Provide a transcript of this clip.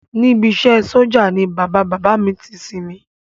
Níbi iṣẹ́ ẹ sójà ni bàbá bàbá à mi ti sinmi